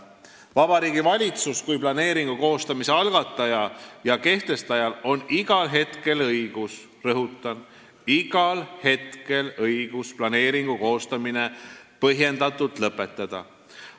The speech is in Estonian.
Vabariigi Valitsusel kui planeeringu koostamise algatajal ja kehtestajal on igal hetkel õigus – rõhutan: igal hetkel õigus – planeeringu koostamine põhjendatult lõpetada.